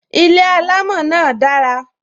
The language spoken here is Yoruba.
Ilé alamo náà dara